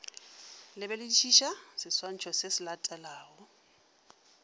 lebeledišiša seswantšho se se latelago